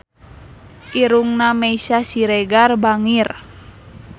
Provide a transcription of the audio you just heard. Irungna Meisya Siregar bangir